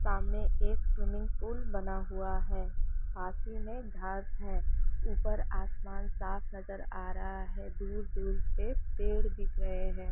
सामने एक swimming pool बना हुआ है पास ही में घास है ऊपर आसमान साफ़ नज़र आ रहा है दूर-दूर पे पेड़ दिख रहे है।